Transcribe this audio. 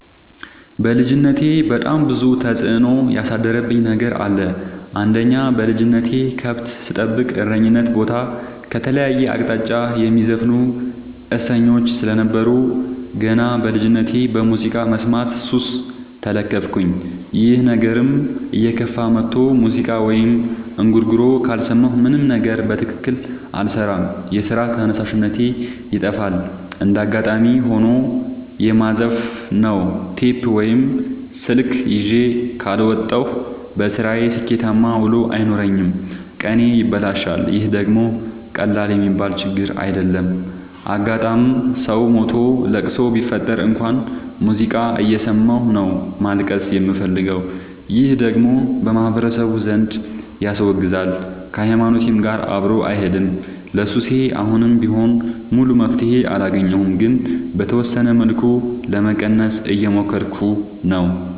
በልጅነቴ በጣም ብዙ ተጽዕኖ ያሳደረብኝ ነገር አለ። አንደኛ በልጅነቴ ከብት ስጠብቅ እረኝነት ቦታ ከተለያየ አቅጣጫ የሚዘፍኑ እሰኞች ስለነበሩ። ገና በልጅነቴ በሙዚቃ መስማት ሱስ ተለከፍኩኝ ይህ ነገርም እየከፋ መጥቶ ሙዚቃ ወይም እንጉርጉሮ ካልሰማሁ ምንም ነገር በትክክል አልሰራም የስራ ተነሳሽነቴ ይጠፋል። እንደጋጣሚ ሆኖ የማዘፍ ነው ቴፕ ወይም ስልክ ይዤ ካልወጣሁ። በስራዬ ስኬታማ ውሎ አይኖረኝም ቀኔ ይበላሻል ይህ ደግሞ ቀላል የሚባል ችግር አይደለም። አጋጣም ሰው ሞቶ ለቅሶ ቢፈጠር እንኳን ሙዚቃ እየሰማሁ ነው ማልቀስ የምፈልገው ይህ ደግሞ በማህበረሰቡ ዘንድ ያስወግዛል። ከሀይማኖቴም ጋር አብሮ አይሄድም። ለሱሴ አሁንም ቢሆን ሙሉ መፍትሔ አላገኘሁም ግን በተወሰነ መልኩ ለመቀነስ እየሞከርኩ ነው።